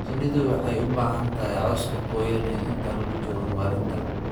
Shinnidu waxay u baahan tahay cawska cyane inta lagu jiro maalinta.